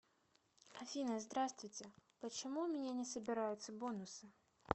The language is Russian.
афина здравствуйте почему у меня не собираются бонусы